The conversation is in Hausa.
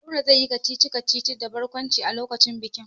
Nura zai yi kacici-kacici da barkwanci a lokacin bikin.